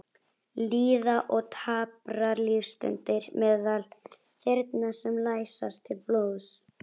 Líða og daprar lífsstundir meðal þyrna sem læsast til blóðs.